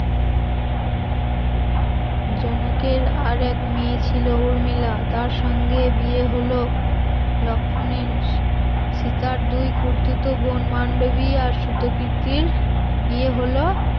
জনকের আর এক মেয়ে ছিল উর্মিলা তার সঙ্গে বিয়ে হল লক্ষণের সীতার দুই খুরতুতো বোন মান্ডবী আর সুতোকির বিয়ে হল